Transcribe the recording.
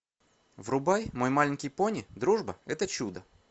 врубай мой маленький пони дружба это чудо